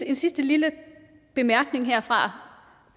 en sidste lille bemærkning herfra